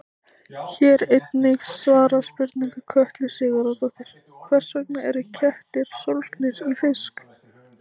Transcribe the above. Hér er einnig svarað spurningu Kötlu Sigurðardóttur: Hvers vegna eru kettir sólgnir í fisk?